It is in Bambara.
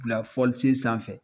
Bila fɔlisen sanfɛ.